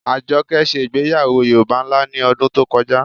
Àjọkẹ́ ṣẹ̀ igbèyàwọ́ Yorùbá nlá ní odún tó kọjá.